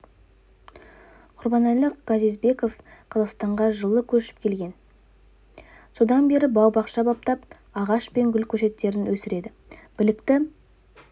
құрбанәлі газизбеков қазақстанға жылы көшіп келген содан бері бау-бақша баптап ағаш пен гүл көшеттерін өсіреді білікті